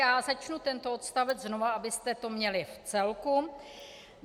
Já začnu tento odstavec znova, abyste to měli v celku.